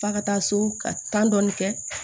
F'a ka taa so ka tan dɔɔni kɛ